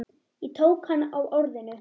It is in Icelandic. Ég tók hann á orðinu.